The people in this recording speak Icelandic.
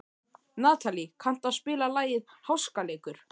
Natalí, kanntu að spila lagið „Háskaleikur“?